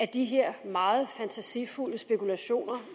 de her meget fantasifulde spekulationer